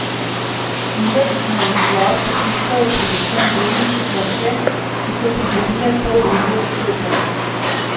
Indeks navzgor potiskajo predvsem delnice Krke, ki so pridobile poldrugi odstotek.